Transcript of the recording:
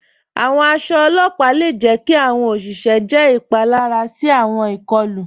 Àwọn àṣọ ọlọ́pà le jẹ̀ kí àwọn oṣìṣẹ jẹ́ ipalara sí àwọn ikọ̀lu.